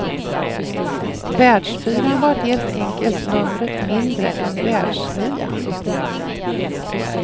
Världsfyran var helt enkelt numret mindre än världsnian.